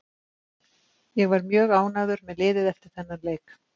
Ég var mjög ánægður með liðið eftir þennan leik.